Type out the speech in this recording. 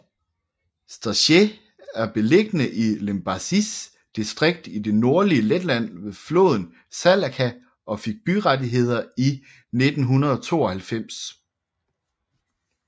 Staicele er beliggende i Limbažis distrikt i det nordlige Letland ved floden Salaca og fik byrettigheder i 1992